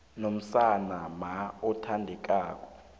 nomzana mma othandekako